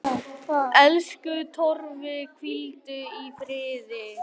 Elsku Torfi, hvíldu í friði.